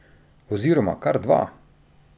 Oziroma kar dva!